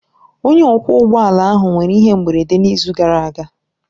Onye ọkwọ ụgbọ ala ahụ nwere ihe mberede n'izu gara aga.